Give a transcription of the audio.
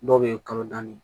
Dɔw bɛ yen kalo naani